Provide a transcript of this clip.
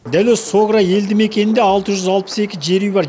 дәл осы согра елді мекенінде алты жүз алпыс екі жер үй бар